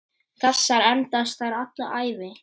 Þessar endast þér alla ævi.